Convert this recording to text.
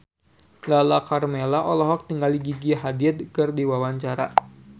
Lala Karmela olohok ningali Gigi Hadid keur diwawancara